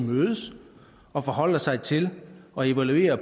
mødes og forholder sig til og evaluerer